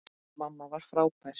Mamma var frábær.